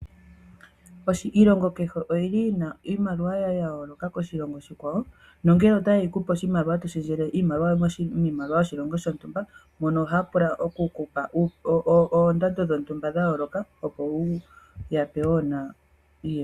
Iilongo kehe oyi na iimaliwa ya yooloka koshilongo oshikwawo nongele otaye yi ku pe to shendjele oshimaliwa miimaliwa yoshilongo shontumba, mono ohaya pula oku ku pa oondando dhontumba dha yooloka, opo wu ya pe nawa iimaliwa yoshilongo sheni.